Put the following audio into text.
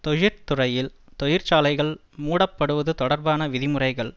தொழிற்துறையில் தொழிற்சாலைகள் மூடப்படுவது தொடர்பான விதிமுறைகள்